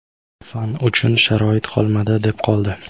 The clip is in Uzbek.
Fan uchun sharoit qolmadi, deb qoldi.